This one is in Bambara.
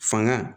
Fanga